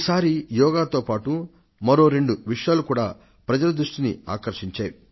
ఈసారి యోగా దినం నాడు యావత్ ప్రపంచ ప్రజలు రెండు ప్రత్యేక కార్యక్రమాలకు సాక్షులుగా నిలచారు